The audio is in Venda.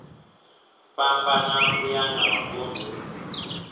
fhambana uya nga mavun ḓu